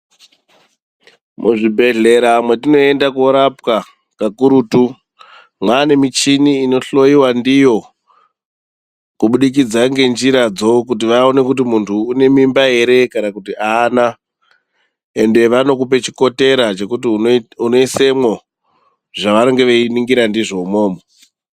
Muzvibhedhleya mwetinoenda korapwa kakurutu mwane michini inohloyiwa ndiyo kubudikidza ngenjira dzo kuti vaone kuti muntu uyu une mimba ere kana kuti aana ende vanokupa chikotera chekuti unoisemwo zvavanenge veiningira ndizvo imwomwo.